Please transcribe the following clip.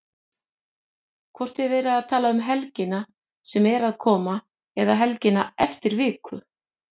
Hvort er verið að tala um helgina sem er að koma eða helgina eftir viku?